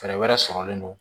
Fɛɛrɛ wɛrɛ sɔrɔlen don